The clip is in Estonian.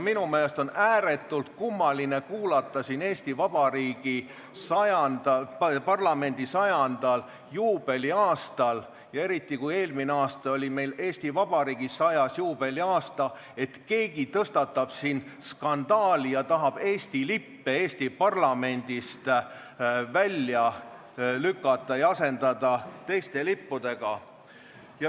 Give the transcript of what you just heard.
Minu meelest on ääretult kummaline kuulda siin Eesti Vabariigi parlamendi 100 aasta juubeli aastal ja eelmine aasta oli meil ka Eesti Vabariik 100 juubeliaasta, et keegi tekitab siin skandaali ja tahab Eesti lippe Eesti parlamendist välja lükata ja asendada teiste lippudega.